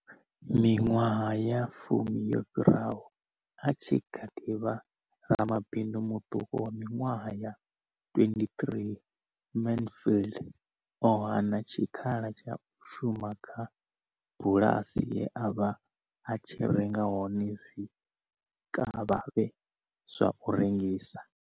Miṅwaha ya fumi yo fhiraho, a tshi kha ḓi vha ramabindu muṱuku wa miṅwaha ya 23, Mansfield o hana tshikhala tsha u shuma kha bulasi ye a vha a tshi renga hone zwikavhavhe zwa u rengisa.